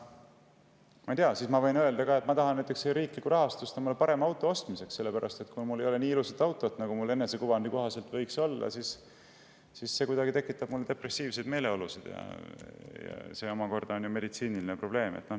Ma võin ka öelda, et ma tahan riiklikku rahastust omale parema auto ostmiseks, sellepärast et kui mul ei ole nii ilusat autot, nagu mul enesekuvandi kohaselt võiks olla, siis see tekitab minus depressiivseid meeleolusid, ja see on ju meditsiiniline probleem.